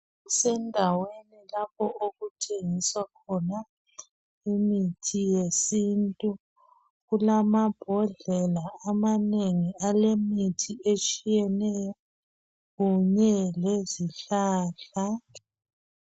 Kusendaweni lapho okuthengiswa khona imithi yesintu. Kulamambodlela amanengi alemithi etshiyeneyo kunye lezihlahla.